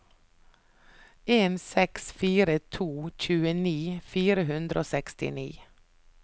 en seks fire to tjueni fire hundre og sekstini